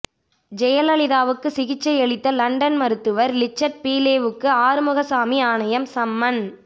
ஜெயலலிதாவுக்கு சிகிச்சையளித்த லண்டன் மருத்துவர் லிச்சர்ட் பீலேவுக்கு ஆறுமுகசாமி ஆணையம் சம்மன்